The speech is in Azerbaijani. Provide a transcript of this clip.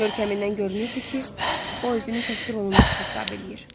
Görkəmimdən görünürdü ki, o özünü təhqir olunmuş hesab eləyir.